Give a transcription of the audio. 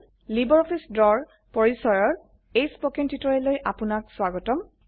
LibreOffice Draw ৰ পৰিচয়ৰ এই স্পকেন টিউটোৰিয়েললৈ আপনাক স্বাগতম